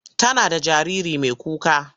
Tana da jariri mai kuka.